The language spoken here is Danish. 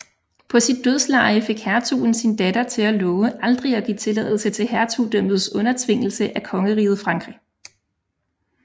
På sit dødsleje fik hertugen sin datter til at love aldrig at give tilladelse til hertugdømmets undertvingelse af Kongeriget Frankrig